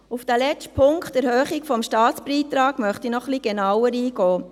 Auf diesen letzten Punkt, die Erhöhung des Staatsbeitrags, möchte ich noch etwas genauer eingehen.